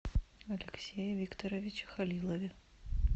алексее викторовиче халилове